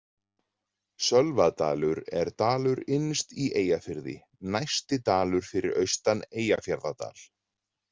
Sölvadalur er dalur innst í Eyjafirði, næsti dalur fyrir austan Eyjafjarðardal.